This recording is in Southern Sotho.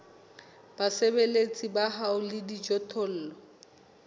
basebeletsi ba hao le dijothollo